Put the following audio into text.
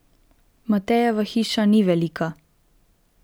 Matejeva hiša ni velika.